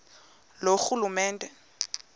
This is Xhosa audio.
loorhulumente